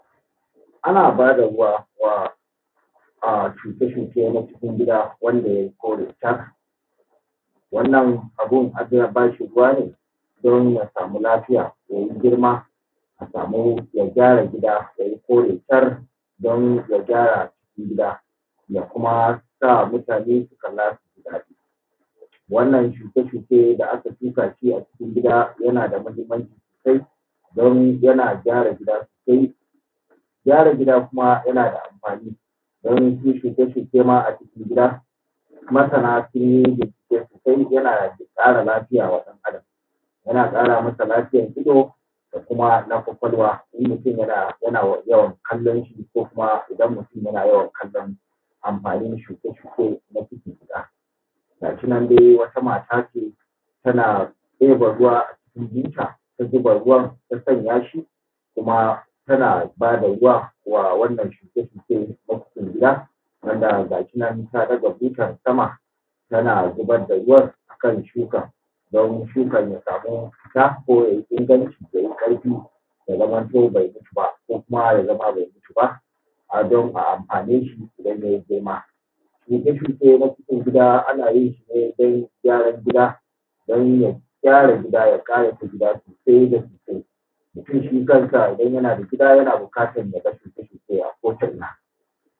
Ana bada ruwa wa shuke-shuke na cikin gida wanda ya yi kore shar, wannan abun ana ba shi ruwa ne din ya samu lafiya ya yi girma a samu ya gyara gida ya yi kore shar. Don ka kyara gida da kuma sa mutane salati, wannan shuke-shuke da aka shuka shi a cikin gida yana da mahinmaci sosai don yana kyara gida sosai, kyara gida kuma yana da amfani wasu shuke-shuke ma a cikin gida, masara ma sun yi yana ƙara lafiya wa ɗan’Adam yana ƙara masa lafiyan so da kuma na kwakwalwa lokacin yana yawan kallon shi, ko kuma idan mutum yana kallon amfani shukoki ko na gida gasu nan dai wata mata ce, tana ɗeba ruwa jikinta ta zuba ruwan ta sanya shi kuma tana ba da ruwa wa wannan shuke-shuke na cikin gida wanda gashi nan ta ɗaga butan sama tana zubar da ruwan a kan shuka. Don shukan ya samu isa ko ya yi iran jiki ko ƙarfi ya zamanto be mutu ba, ko kuma ya zama abu megirma; ana amfani da shi idan ya girma. Shuke-shuke na cikin gida a yin shi ne dan kyaran gida don ya ƙayata gida sosai da sosai, mutum shi kansa idan yana da gida yana buƙatan ya ga shuke-shuke a ko’ina.